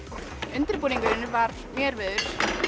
undirbúningurinn var mjög erfiður